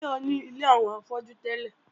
Táyọ̀ ní ilé àwọn afọ́jú tẹ́lẹ̀